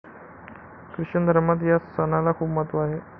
Christian धर्मात या सणाला खूप महत्व आहे.